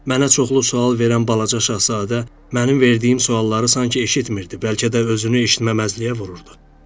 Mənə çoxlu sual verən Balaca Şahzadə mənim verdiyim sualları sanki eşitmir, bəlkə də özünü eşitməməzliyə vururdu.